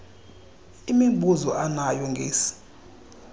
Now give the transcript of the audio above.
imibuzo anayo ngesi